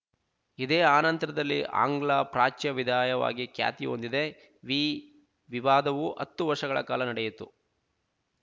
ಇದೆ ಆನಂತರದಲ್ಲಿ ಆಂಗ್ಲ ಪ್ರಾಚ್ಯ ವಿದಾಯವಾಗಿ ಖ್ಯಾತಿ ಹೊಂದಿದೆ ವಿ ವಿವಾದವು ಹತ್ತು ವರ್ಷಗಳ ಕಾಲ ನಡೆಯಿತು